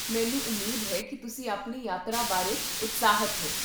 ਮੈਨੂੰ ਉਮੀਦ ਹੈ ਕੀ ਤੁਸੀਂ ਆਪਣੀ ਯਾਤਰਾ ਬਾਰੇ ਉਤਸ਼ਾਹਿਤ ਹੋ